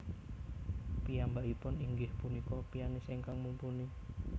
Piyambakipun inggih punika pianis ingkang mumpuni